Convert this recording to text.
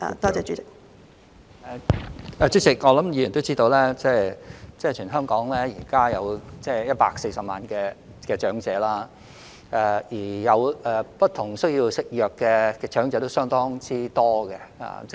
主席，我想議員也知道，現時全港有140萬名長者，而有不同服藥需要的長者為數相當多。